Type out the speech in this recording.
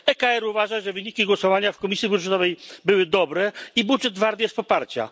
ECR uważa, że wyniki głosowania w Komisji Budżetowej były dobre i budżet wart jest poparcia.